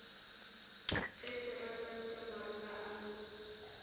ge seresanta maroga a mo